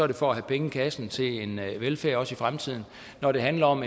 det for at have penge i kassen til en velfærd også i fremtiden når det handler om